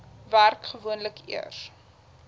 werk gewoonlik eers